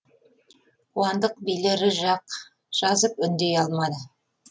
қуандық билері жақ жазып үндей алмады